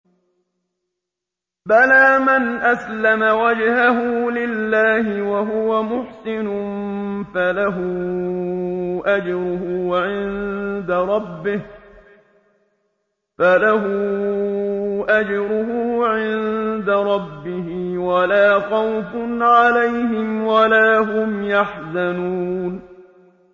بَلَىٰ مَنْ أَسْلَمَ وَجْهَهُ لِلَّهِ وَهُوَ مُحْسِنٌ فَلَهُ أَجْرُهُ عِندَ رَبِّهِ وَلَا خَوْفٌ عَلَيْهِمْ وَلَا هُمْ يَحْزَنُونَ